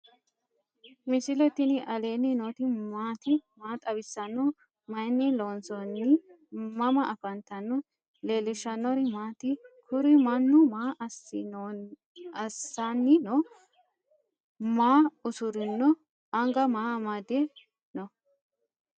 misile tini alenni nooti maati? maa xawissanno? Maayinni loonisoonni? mama affanttanno? leelishanori maati? kuuri maanu maa asani no?maa usirino? anga maa amadw no?